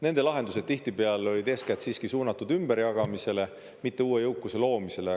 Nende lahendused tihtipeale olid eeskätt siiski suunatud ümberjagamisele, mitte uue jõukuse loomisele.